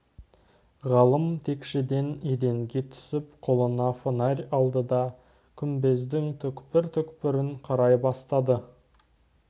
ғалым текшеден еденге түсіп қолына фонарь алды да күмбездің түкпір-түкпірін қарай бастады